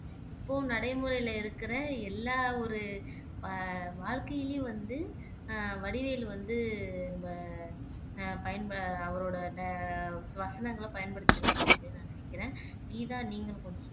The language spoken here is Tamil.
இப்போ நடைமுறையிலே இருக்கிற எல்லா ஒரு அஹ் வா வாழ்க்கையிலேயும் வந்து அஹ் வடிவேலு வந்து நம்ம பயன்பெற அவரோட வ வசனங்களை பயன்படுத்தி இருக்கோம் அப்படின்னு நான் நினைக்கிறேன் கீதா நீங்களும் கொஞ்சம் சொல்லுங்க